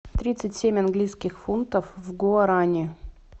тридцать семь английских фунтов в гуарани